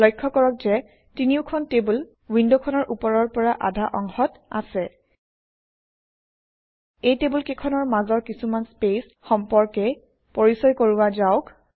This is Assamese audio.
লক্ষ্য কৰক যে তিনিওখন টেবুল উইণ্ডখনৰ ওপৰৰ পৰা আধা অংশত আছে এই টেবুলকেইখনৰ মাজৰ কিছুমান স্পেচ সম্পৰ্কে পৰিচয় কৰোৱা যাওক